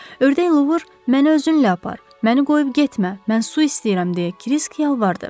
Ördək Luvr, məni özünlə apar, məni qoyub getmə, mən su istəyirəm deyə Krisk yalvardı.